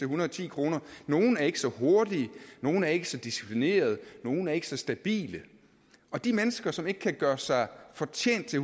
hundrede og ti kroner nogle er ikke så hurtige nogle er ikke så disciplinerede og nogle er ikke så stabile og de mennesker som ikke kan gøre sig fortjent til